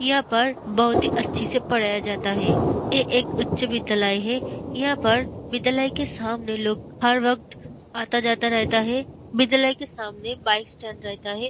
इहा पर बहुत ही अच्छी से पढ़ाया जाता है ये एक उच्च विद्यालय है यहाँ पर विद्यालय के सामने लोग हर वक्त आता-जाता रहता है विद्यालय के सामने बाइक स्टैंड रहता है।